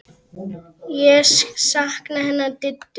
Ég sakna hennar Diddu.